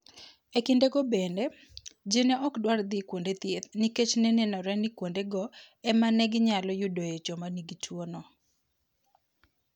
E kindego bende, ji ne ok dwar dhi kuonde thieth nikech ne nenore ni kuondego ema ne ginyalo yudoe joma nigi tuwono".